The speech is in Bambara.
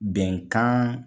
Bɛnkan